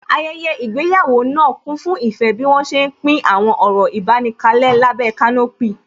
Ayẹyẹ ìgbéyàwó náà kún fún ìfẹ́ bí wọ́n ṣé ń pín àwọn ọ̀rọ̀ ìbánikalẹ́ lábẹ́ kanopí